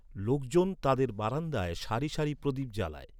লোকজন তাদের বারান্দায় সারি সারি প্রদীপ জ্বালায়।